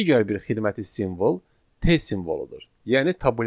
Digər bir xidməti simvol T simvoludur, yəni tabulyasiya.